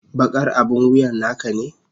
Bakar abin wuyan naka ne?